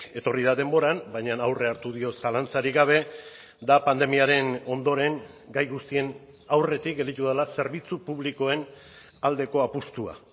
etorri da denboran baina aurrea hartu dio zalantzarik gabe da pandemiaren ondoren gai guztien aurretik gelditu dela zerbitzu publikoen aldeko apustua